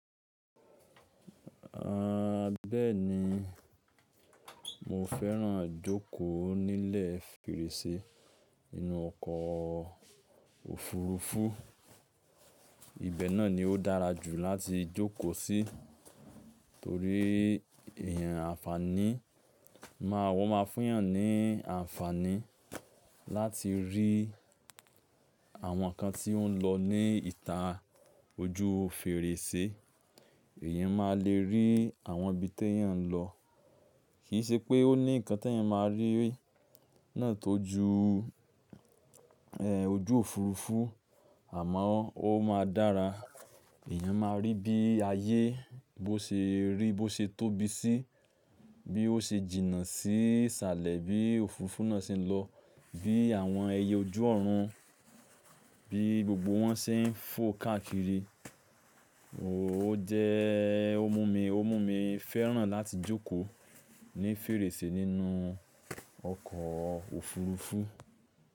A bẹ́ẹ̀ni, mo fẹ́ràn jókòó nílẹ̀ fèrèsé inú ọkọ̀ òfurufú. Ibẹ̀ náà ni ó dára jù láti jókòó sí torí èèyàn ànfàní. Máa wọ́n ma fún èèyàn ní ànfàní láti rí àwọn ǹkan tí ó ń lọ ní ìta ojú fèrèsé. Èèyàn máa le rí àwọn ibi tí èèyàn ń lọ. Kì í ṣe pé ó ní ǹkan tí èèyàn máa rí náà tó ju, e, ojú òfurufú, àmọ́ ó máa dára. Ẹ̀yàn máa rí bí ayé bó ṣe rí, bó ṣe tóbi sí, bí ó ṣe jìnnà sí salẹ̀ bí òfurufú náà ṣe ń lọ, bí àwọn ẹyẹ ojú ọ̀run, bí gbogbo wọn ṣe ń fò káàkiri. O jẹ́ ó mú mi, ó mú mi fẹ́ràn láti jókòó ní fèrèsé nínú ọkọ̀ òfurufú.